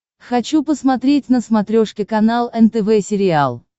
хочу посмотреть на смотрешке канал нтв сериал